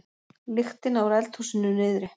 lyktina úr eldhúsinu niðri.